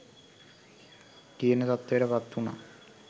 කියන තත්වයට පත්වුනා.